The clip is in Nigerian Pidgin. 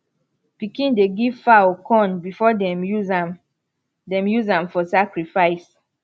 pikin dey give fowl corn before dem use am dem use am for sacrifice